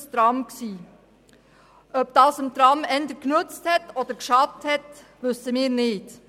Ob dies der Tram-Abstimmung eher genützt oder geschadet hat, wissen wir nicht.